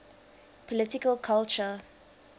political culture